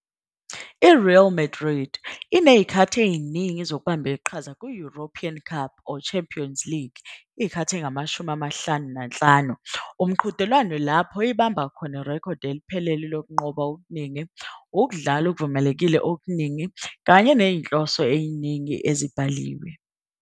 I-Real Madrid inezikhathi eziningi zokubamba iqhaza ku-European Cup or Champions League, 55, umqhudelwano lapho ibambe khona irekhodi eliphelele lokunqoba okuningi, ukudlala okuvumelekile okuningi kanye nezinhloso eziningi ezibhaliwe.